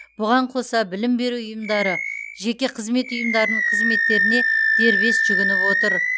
бұған қоса білім беру ұйымдары жеке қызмет ұйымдарының қызметтеріне дербес жүгініп отыр